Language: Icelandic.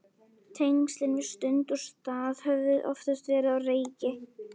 Tengslin við stund og stað höfðu oftast verið á reiki.